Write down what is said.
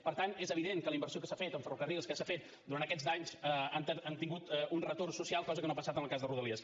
per tant és evident que la inversió que s’ha fet a ferrocarrils durant aquests anys ha tingut un retorn social cosa que no ha passat en el cas de rodalies